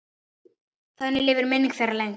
Þannig lifir minning þeirra lengst.